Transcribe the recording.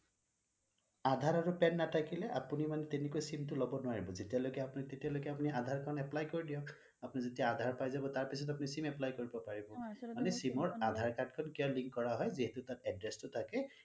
আধাৰ আৰু pan নাথাকিলে আপুনি মানে তেনেকৈ sim টো লব নোৱাৰিব যেতিয়া লৈকে তেতিয়া লৈকে আপুনি আধাৰ খন apply কৰি দিওক আপুনি যেতিয়া আধাৰ পাই যাব তেতিয়া আপুনি sim apply কৰিব পাৰিব মানে sim ৰ আধাৰ card টো কিয় link কৰা হয় যিহেতু তাত address টো থাকে